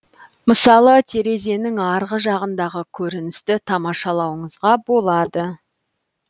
мысалы терезенің арғы жағындағы көріністі тамашалауыңызға болады